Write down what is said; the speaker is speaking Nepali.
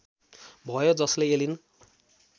भयो जसले एलिन